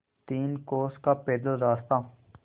तीन कोस का पैदल रास्ता